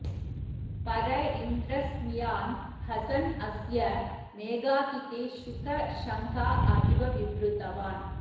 पर इन्द्र स्मियान हसन् अस्य मेधातिथे शूक शङ्का अविव विवृतवान्